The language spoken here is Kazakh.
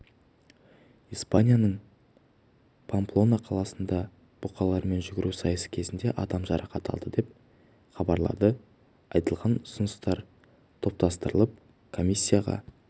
испанияның памплона қаласында бұқалармен жүгіру сайысы кезінде адам жарақат алды деп хабарлады айтылған ұсыныстар топтастырылып комиссияға